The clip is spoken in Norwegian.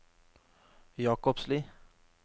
Jakobsli